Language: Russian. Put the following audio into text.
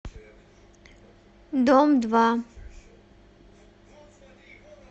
дом два